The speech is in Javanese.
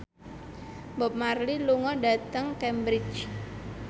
Bob Marley lunga dhateng Cambridge